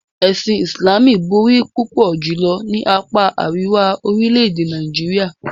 Ẹ̀sìn Islamú bọ̀rí púpọ̀ julọ̀ ni àpá aríwà orílẹ̀-èdè Nàìjíríà.